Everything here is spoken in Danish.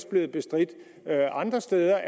blevet bestridt andre steder